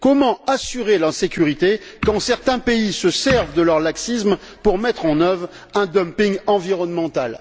Comment assurer la sécurité quand certains pays se servent de leur laxisme pour mettre en œuvre un dumping environnemental?